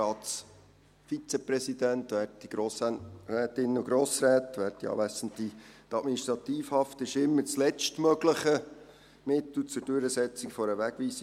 Die Administrativhaft ist immer das letztmögliche Mittel zur Durchsetzung einer Wegweisung.